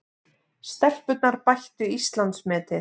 Stelpurnar bættu Íslandsmetið